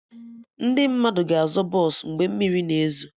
Ndị mmadụ ga-azọ bọsụ mgbe mmiri na ezo